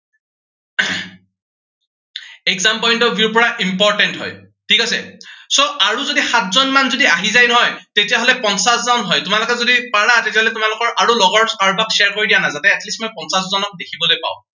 exam point of view ৰ পৰা important হয়। ঠিক আছে, so আৰু যদি সাতজন মান যদি আহি যায় নহয়, তেতিয়া হলে পঞ্চাশজন হয়। তোমালোকে যদি পাৰা তেতিয়াহলে তোমালোকৰ আৰু লগৰ কাৰোবাক share কৰি দিয়া না। যাতে at least মই পঞ্চাশজনক দেখিবলৈ পাওঁ।